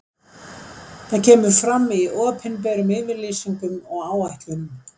Það kemur fram í opinberum yfirlýsingum og áætlunum.